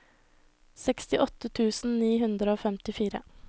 sekstiåtte tusen ni hundre og femtifire